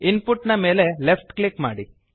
input ನ ಮೇಲೆ left click ಮಾಡಿ